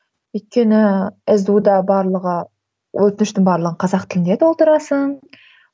өйткені сду да барлығы өтініштің барлығын қазақ тілінде толтырасың